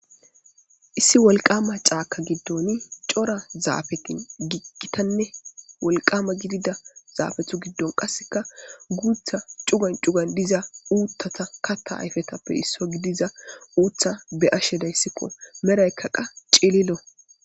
Issi wolqama caaka giddon cora zaafetin giggitanne wolqama gidida zaafethu giddon qasseka guutha cugan cugan diza uuttata katta ayfetappe isso gidiza uutha be ashe dayssikko meraykkaqa cililo.